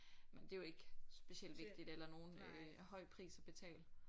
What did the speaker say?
Men det er jo ikke specielt vigtigt eller nogen øh høj pris at betale